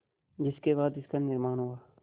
जिसके बाद इसका निर्माण हुआ